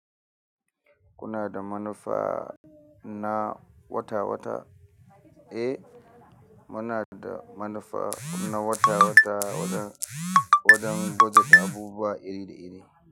Kuna da manufa na wata-wata, eh? Muna da manufa na wata-wata wajen, wajen bajet a abubuwa iri da iri.